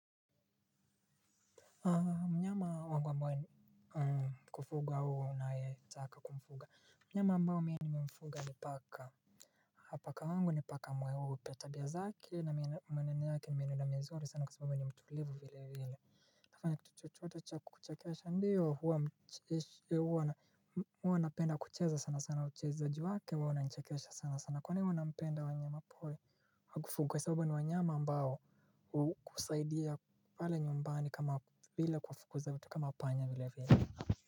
Wangu wambae kufuga huu na ya taka kumfuga mnyama ambao mwenye ni mfuga ni paka hapa kwangu ni paka mweupe tabia zeke na mwenenoyake ni mweneno na mzuri sana kwa sababu ni mtulivu vile vile nafanya kitu chochotu wata kukuchakesha ndiyo huu huwa napenda kucheza sana sana uchezaji wake huwa una chakesha sana sana kwani huwa unapenda wanyama pori wa kufugwa sababu ni wanyama ambao kusaidia pale nyumbani kama vila kuwafukuza vitu kama panya vile vile.